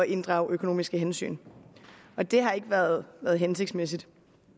inddrage økonomiske hensyn det har ikke været hensigtsmæssigt